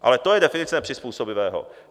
Ale to je definice nepřizpůsobivého.